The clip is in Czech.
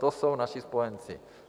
To jsou naši spojenci.